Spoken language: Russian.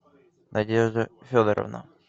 надежда федоровна